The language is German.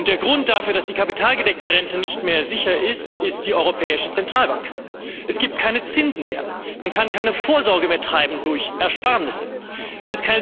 Der Grund dafür, dass die kapitalgedeckte Rente nicht mehr sicher ist, ist die Europäische Zentralbank Es gibt keine Zinsen mehr, man kann keine Vorsorge durch Ersparnisse mehr treiben.